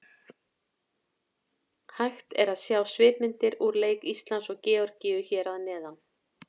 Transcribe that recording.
Hægt er að sjá svipmyndir úr leik Íslands og Georgíu hér að neðan.